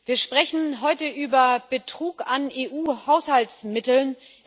Wir sprechen heute über Betrug bei EU Haushaltsmitteln.